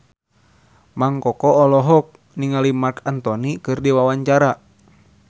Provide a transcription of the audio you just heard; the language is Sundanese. Mang Koko olohok ningali Marc Anthony keur diwawancara